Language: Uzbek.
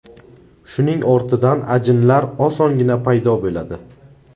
Shuning ortidan ajinlar osongina paydo bo‘ladi.